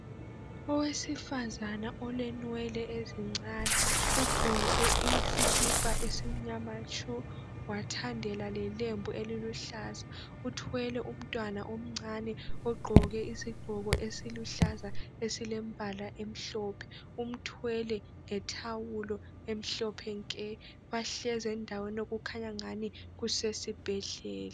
owesifazana olenwele ezincane ugqoke isikipa esimnyama tshu wathandela lelembu eliluhlaza uthwele umntwana omncane ogqoke isigqoko esiluhlaza esilembala emhlophe umthwele ngetawulo emhlophe nke bahlezi endaweni okukhanya angani kusesibhedlela